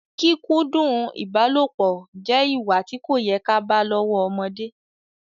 Kíkúndu ìbálopọ̀ jẹ ìwà tí kò yẹ ká bá lọ́wọ́ ọmọdé